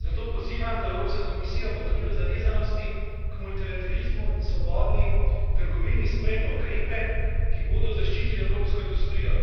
Zato pozivam, da Evropska komisija v okviru zavezanosti k multilaterizmu in svobodni trgovini sprejme ukrepe, ki bodo zaščitili evropsko industrijo.